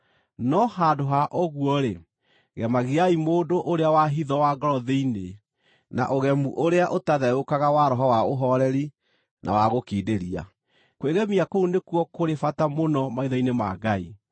no handũ ha ũguo-rĩ, gemagiai mũndũ ũrĩa wa hitho wa ngoro thĩinĩ, na ũgemu ũrĩa ũtatheũkaga wa roho wa ũhooreri na wa gũkindĩria. Kwĩgemia kũu nĩkuo kũrĩ bata mũno maitho-inĩ ma Ngai.